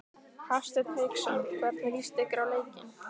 Hafsteinn Hauksson: Hvernig líst ykkur á leikinn?